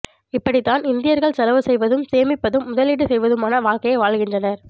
இப்படித்தான் இந்தியர்கள் செலவு செய்வதும் சேமிப்பதும் முதலீடு செய்வதுமான வாழ்க்கையை வாழ்கின்றனர்